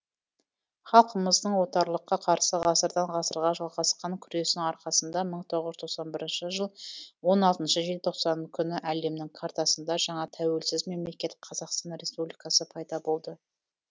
халқымыздың отарлыққа қарсы ғасырдан ғасырға жалғасқан күресінің арқасында мың тоғыз жүз тоқсан бірінші жыл он алтыншы желтоқсан күні әлемнің картасында жаңа тәуелсіз мемлекет қазақстан республикасы пайда болды